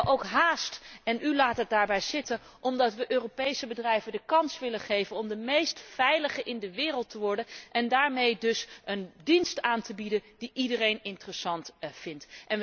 We hebben ook haast en u laat het daarbij zitten omdat wij Europese bedrijven de kans willen geven om de meest veilige in de wereld te worden en daarmee dus een dienst aan te bieden die iedereen interessant vindt.